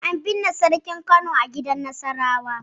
An binne sarkin Kano a gidan Nasarawa.